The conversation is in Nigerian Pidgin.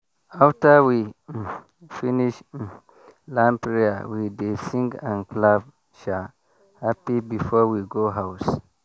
after we um finish um land prayer we dey sing and clap sha happy before we go house.